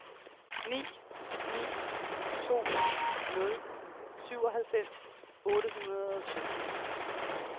ni ni to nul syvoghalvfems otte hundrede og sytten